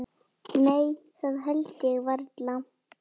Nei það held ég varla.